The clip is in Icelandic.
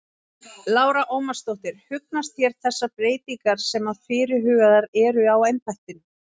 Lára Ómarsdóttir: Hugnast þér þessar breytingar sem að fyrirhugaðar eru á embættinu?